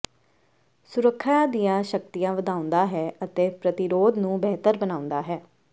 ਸੁਰੱਖਿਆ ਦੀਆਂ ਸ਼ਕਤੀਆਂ ਵਧਾਉਂਦਾ ਹੈ ਅਤੇ ਪ੍ਰਤੀਰੋਧ ਨੂੰ ਬਿਹਤਰ ਬਣਾਉਂਦਾ ਹੈ